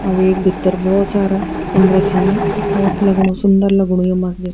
और वेक भीत्तर बहौत सारा कमरा छीन अर बहौत लगणु सुन्दर लगणु ये मस्जिद।